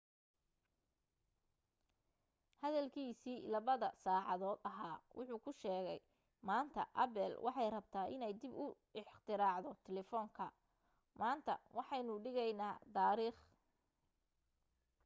hadalkiisii 2-da saacadood ahaa wuxu ku sheegay maanta apple waxay rabtaa inay dib u ikhtiraacdo telefoonka maanta waxaynu dhigaynaa taariikh